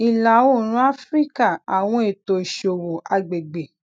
ilaoorun afirika awọn eto iṣowo agbegbe